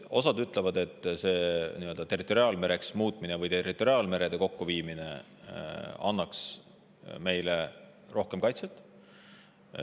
Osa ütleb, et territoriaalmereks muutmine või territoriaalvete kokkuviimine annaks meile rohkem kaitset.